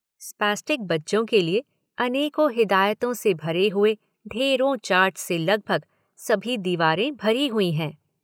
Spastic बच्चों के लिए अनेकों हिदायतों से भरे हुए ढेरों चार्ट्स से लगभग सभी दीवारें भरी हुईं हैं।